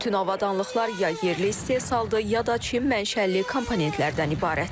Bütün avadanlıqlar ya yerli istehsaldır, ya da Çin mənşəli komponentlərdən ibarətdir.